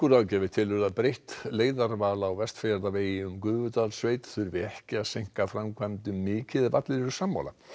ráðgjafi telur að breytt leiðarval á Vestfjarðavegi um Gufudalssveit þurfi ekki að seinka framkvæmdum mikið ef allir eru sammála